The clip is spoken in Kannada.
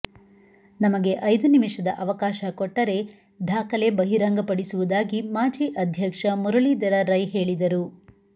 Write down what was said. ನಮಗೆ ಐದು ನಿಮಿಷದ ಅವಕಾಶ ಕೊಟ್ಟರೆ ದಾಖಲೆ ಬಹಿರಂಗಪಡಿಸುವುದಾಗಿ ಮಾಜಿ ಅಧ್ಯಕ್ಷ ಮುರಳೀಧರ ರೈ ಹೇಳಿದರು